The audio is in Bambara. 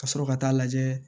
Ka sɔrɔ ka taa lajɛ